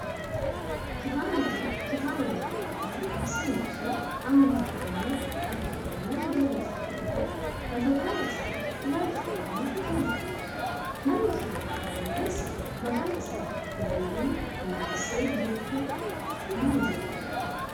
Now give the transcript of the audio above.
kitaabni kun kitaaba barroo aadaa, seenaa fi amantaa oromoo kan afaan oromoon barreeffame yoo ta'u mata dureen isaa ilaalcha oromoo kan jedhudha. namni kitaaba kana barreesse maqaan isaa Dirribii Damusee Bokkuu nama jedhamudha.